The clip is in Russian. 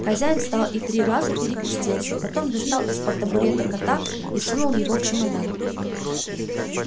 хозяин встал и три раза перекрестился потом достал из-под табурета кота и сунул его в чемодан